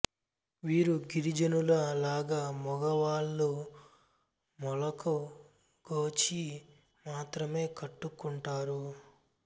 వీరు గిరిజనుల లాగ మొగ వాళ్ళు మొలకు గోచి మాత్రమే కట్టు కుంటారు